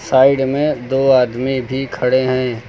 Side में दो आदमी भी खड़े हैं।